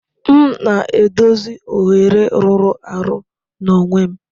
M na-edozi oghere rụrụ arụ n'onwe m.